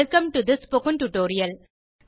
welcome to the spoken tutorial